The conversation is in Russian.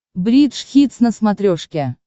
бридж хитс на смотрешке